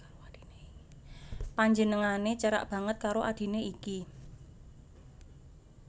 Panjenengané cerak banget karo adhiné iki